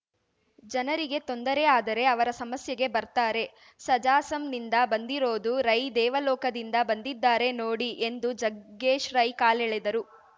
ಜನರಿಗೆ ತೊಂದರೆ ಆದರೆ ಅವರ ಸಮಸ್ಯೆಗೆ ಬರ್ತಾರೆ ಸಜಾ ಸಂ ನಿಂದ ಬಂದಿರೋದು ರೈ ದೇವಲೋಕದಿಂದ ಬಂದಿದ್ದಾರೆ ನೋಡಿ ಎಂದು ಜಗ್ಗೇಶ್‌ ರೈ ಕಾಲೆಳೆದರು